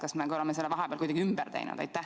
Kas me oleme selle korra vahepeal kuidagi ümber teinud?